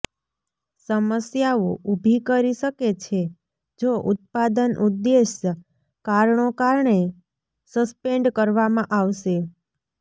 સમસ્યાઓ ઊભી કરી શકે છે જો ઉત્પાદન ઉદ્દેશ કારણો કારણે સસ્પેન્ડ કરવામાં આવશે